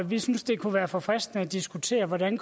vi synes det kunne være forfriskende at diskutere hvordan